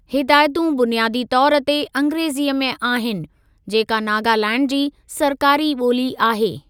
हिदायतूं बुनियादी तौर ते अंग्रेज़ीअ में आहिनि, जेका नागालैंड जी सरकारी ॿोली आहे।